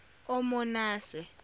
omonase